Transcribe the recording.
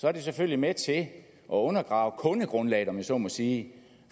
er selvfølgelig med til at undergrave kundegrundlaget om jeg så må sige